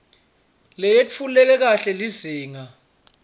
leyetfuleke kahle lizinga